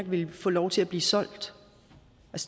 ville få lov til at blive solgt